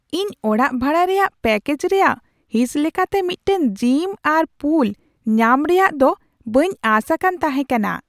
ᱤᱧ ᱚᱲᱟᱜ ᱵᱷᱟᱲᱟ ᱨᱮᱭᱟᱜ ᱯᱮᱠᱮᱡᱽ ᱨᱮᱭᱟᱜ ᱦᱤᱸᱥ ᱞᱮᱠᱟᱛᱮ ᱢᱤᱫᱴᱟᱝ ᱡᱤᱢ ᱟᱨ ᱯᱩᱞ ᱧᱟᱢ ᱨᱮᱭᱟᱜ ᱫᱚ ᱵᱟᱹᱧ ᱟᱥ ᱟᱠᱟᱱ ᱛᱟᱦᱮᱸ ᱠᱟᱱᱟ ᱾